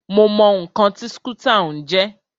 Mo mọ ǹkan tí skútà ń jẹ́.